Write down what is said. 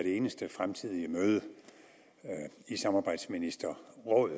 eneste fremtidige møde i samarbejdsministerrådet